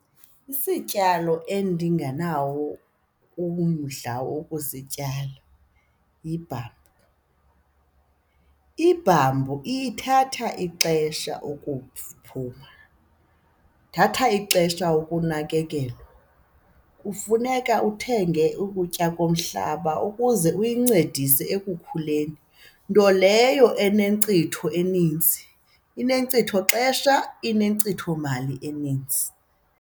Isityalo endinganawo umdla wokusityala yibhambu, ibhambu ithatha ixesha ukuphuma, ithatha ixesha ukunakekelwa. Kufuneka uthenge ukutya komhlaba ukuze uyincedise ekukhuleni nto leyo enenkcitho eninzi. Inkcitho xesha, inkcitho mali enintsi.